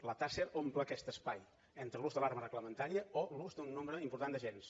la taser omple aquest espai entre l’ús de l’arma reglamentària o l’ús d’un nombre important d’agents